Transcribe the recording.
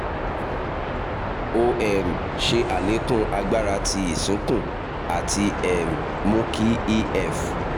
o um ṣe àlékún agbára ti ìsúnkùn ati um mu ki ef